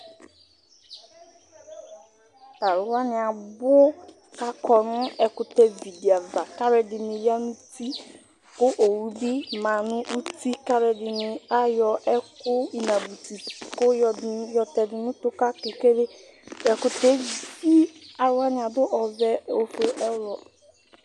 Talʋwani abʋ kʋ akɔnʋ ɛkʋtɛ vidi ava kʋ alʋɛdini yanʋ uti kʋ owʋbi manʋ uti kʋ alʋɛdini ayɔ inabʋti kʋ yɔtɛdʋ nʋ utu kʋ akekele Tʋ ɛkʋtɛ evi alʋ wani adʋ ɔvɛ, ofue